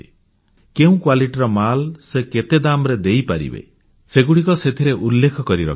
କେଉଁ କ୍ୱାଲିଟିର ମାଲ ସେ କେତେ ଦାମ୍ ରେ ଦେଇପାରିବେ ସେଗୁଡ଼ିକ ସେଥିରେ ସେ ଉଲ୍ଲେଖ କରି ରଖିବେ